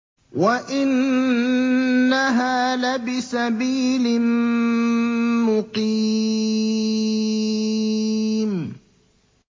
وَإِنَّهَا لَبِسَبِيلٍ مُّقِيمٍ